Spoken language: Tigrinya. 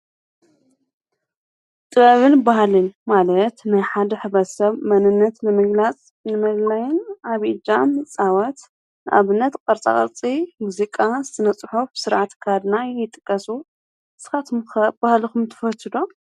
ጥበብን ባህልን ማለት ናይ ሓድ ሕብረተ ሰብ መንነት ንምግላጽ ንመለለይን ኣብይ እጃምን ይጻወት። ኣብነት ቀርፃ ቐርጺ፣ ሙዚቃ፣ ስነ -ነጽሖፍ፣ ሥርዓት ኣካድድና ይጥቀሱ። ንስኻትምከ ባህልኹም ትፈትዶ?